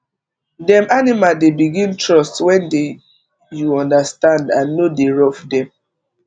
dem animal dey begin trust wen dey u understand and no dey rough dem